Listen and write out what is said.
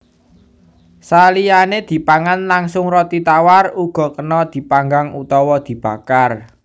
Saliyané dipangan langsung roti tawar uga kena dipanggang utawa dibakar